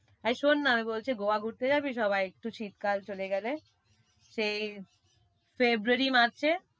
এই শোন না, আমি বলছি Goa ঘুরতে যাবি সবাই একটু শীতকাল চলে গেলে। সেই ফেব্রুয়ারি, মার্চে।